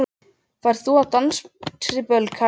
Ferð þú á dansiböll, kalli minn?